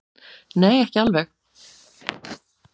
Nei, ekki alveg.